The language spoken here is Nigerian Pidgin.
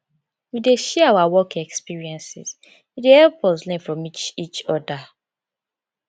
we dey share our work experiences e dey help us learn from each each oda